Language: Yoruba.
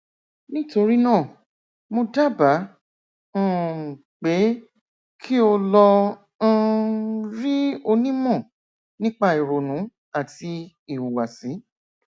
nítorí náà mo dábàá um pé kí o lọ um rí onímọ nípa ìrònú àti ìhùwàsí